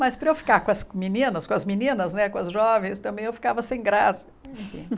Mas para eu ficar com as meninos, com as meninas né, com as jovens, também eu ficava sem graça.